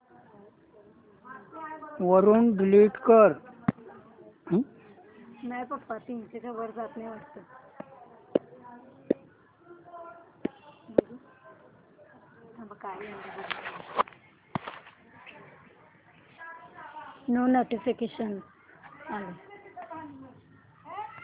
वरून डिलीट कर